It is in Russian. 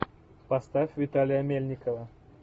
поставь виталия мельникова